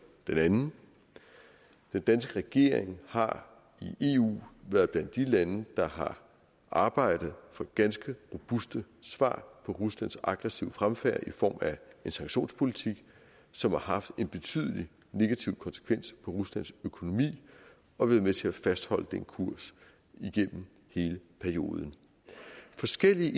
den anden den danske regering har i eu været blandt de lande der har arbejdet for ganske robuste svar på ruslands aggressive fremfærd i form af en sanktionspolitik som har haft en betydelig negativ konsekvens for ruslands økonomi og været med til at fastholde den kurs igennem hele perioden forskellige